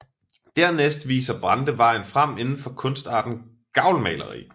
Dernæst viser Brande vejen frem indenfor kunstarten gavlmaleri